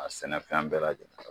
A sɛnɛfɛn bɛɛ lajɛlen